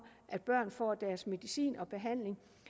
at børn får deres medicin og deres behandling